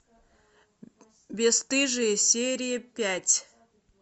бесстыжие серия пять